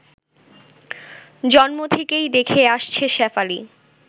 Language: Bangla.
জন্ম থেকেই দেখে আসছে শেফালি